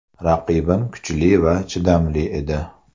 Raqibim kuchli va chidamli edi.